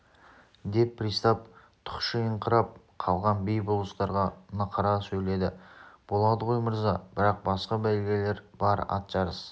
деп пристав тұқшиыңқырап қалған би-болыстарға нықыра сөйледі болады ғой мырза бірақ басқа бәйгелер бар ат жарыс